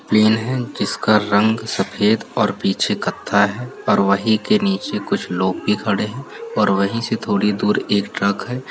Plane है जिसका रंग सफेद और पीछे कत्था है और वही के नीचे कुछ लोग भी खड़े हैं और वहीं से थोड़ी दूर एक ट्रक है ।